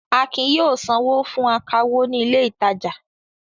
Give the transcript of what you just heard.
Akin yóò sanwó fún akawó ní ilé-ìtajà.